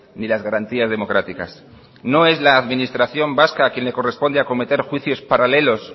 ni las garantías democráticas no es la administración vasca a quien le corresponde acometer juicios paralelos